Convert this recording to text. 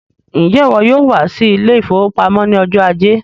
Njẹ iwọ yóò wá sí ile-ìfowópamó ní ọjọ ajé?